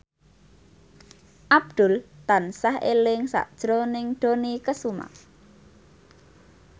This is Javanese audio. Abdul tansah eling sakjroning Dony Kesuma